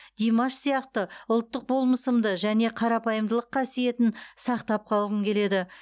димаш сияқты ұлттық болмысымды және қарапайымдылық қасиетін сақтап қалғым келеді